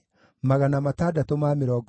na cia Hashumu ciarĩ 328